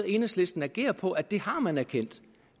enhedslisten agerer på er at det har man erkendt